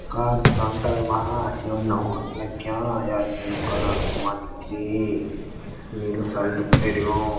कार संटन मा नावोंण लग्यां या नीलू कलर कु मनखी नीलू सल्ट पैरियुं।